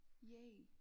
Yay